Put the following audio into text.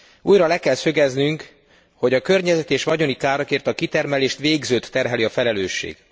Újra le kell szögeznünk, hogy a környezeti és vagyoni károkért a kitermelést végzőt terheli a felelősség.